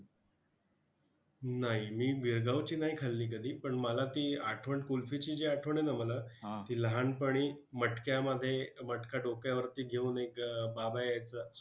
नाही मी गिरगावची नाही खाल्ली कधी! पण मला ती आठवण कुल्फीची जी आठवण आहे ना मला, ती लहानपणी मटक्यामध्ये मटका डोक्यावरती घेऊन एक बाबा यायचा.